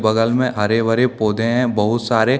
बगल में हरे-भरे पौधे है बहुत सारे।